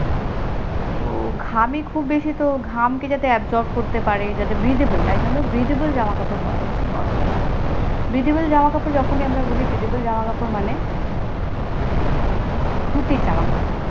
তো ঘামে খুব বেশি তো ঘাম কে জাতে এক, job করতে পারে জাতো breatheble, তাই জন্য breathable জামাকাপড় পরা উচিত গরমকালে, breathable জামাকাপড় যখনই আমরা গুলি breathable জামাকাপড় মানে সুতি জামাকাপড়